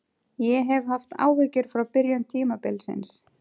Ég hef haft áhyggjur frá byrjun tímabilsins.